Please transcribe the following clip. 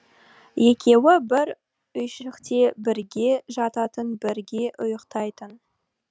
екеуі бір үйшікте бірге жататын бірге ұйықтайтын